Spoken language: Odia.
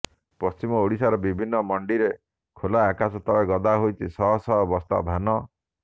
ପଶ୍ଚିମ ଓଡିଶାର ବିଭିନ୍ନ ମଣ୍ଡିରେ ଖୋଲା ଆକାଶ ତଳେ ଗଦା ହୋଇଛି ଶହ ଶହ ବସ୍ତା ଧାନ